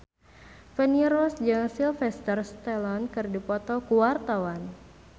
Feni Rose jeung Sylvester Stallone keur dipoto ku wartawan